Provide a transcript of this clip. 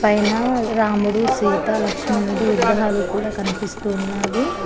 పైన రాముడు సీత లక్ష్మణుడు విగ్రహాలు కూడా కనిపిస్తూ ఉన్నావి.